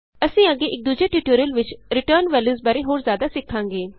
ਅਸੀਂ ਅੱਗੇ ਇਕ ਦੂਜੇ ਟਿਯੂਟੋਰਿਅਲ ਵਿਚ ਰਿਟਰਨਡ ਵੈਲਯੂਸ ਬਾਰੇ ਹੋਰ ਜਿਆਦਾ ਸਿੱਖਾਂਗੇ